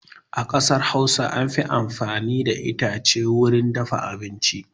A ƙasar Hausa an fi amfani da itace wurin dafa abinci.